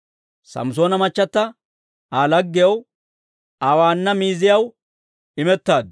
Samssoona machchata Aa laggiyaw, Aa waanna miiziyaw imettaaddu.